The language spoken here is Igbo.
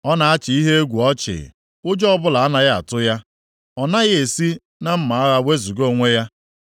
Ọ na-achị ihe egwu ọchị, ụjọ ọbụla anaghị atụ ya; ọ naghị esi na mma agha wezuga onwe ya.